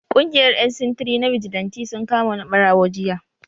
Kungiyar yan sintiri ta bijilanti sun kama wani barawo jiya.